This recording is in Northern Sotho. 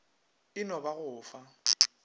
e no ba go fa